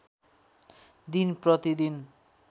दिन प्रति दिन